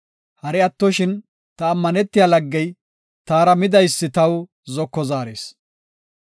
Hari attoshin ta ammanetiya laggey, taara midaysi taw zoko zaaris.